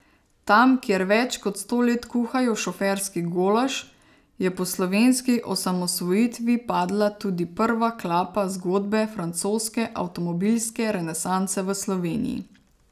Tam, kjer več kot sto let kuhajo šoferski golaž, je po slovenski osamosvojitvi padla tudi prva klapa zgodbe francoske avtomobilske renesanse v Sloveniji.